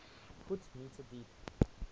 ft m deep